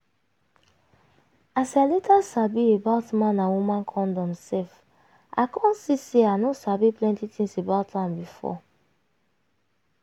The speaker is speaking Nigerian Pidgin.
as i later sabi about man and woman condom sef i come see say i no sabi plenty things about am before.